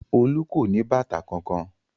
Olú kò ní bàtà kankan.